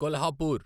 Kolhapur